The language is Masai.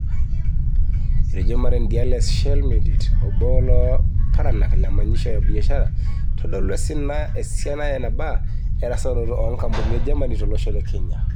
Etejo Maren Diale-Schellschmidt obo loolaparanak le manyisho e biashara, eitodolu esiana enaba erasaroto oongampunini e Germany tolosho le Kenya.